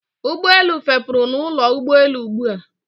Ụgbọelu fepuru na ụlọ ụgbọelu ugbua